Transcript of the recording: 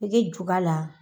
A bɛ kɛ juga la